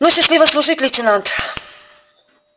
ну счастливо служить лейтенант